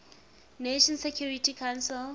nations security council